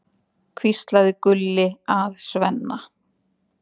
hvíslaði Gulli að Svenna.